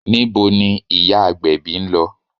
Níbo ni ìyá agbèbí ń lọ?